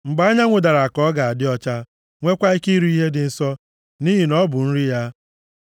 Mgbe anyanwụ dara ka ọ ga-adị ọcha, nweekwa ike iri ihe dị nsọ, nʼihi na ọ bụ nri ya.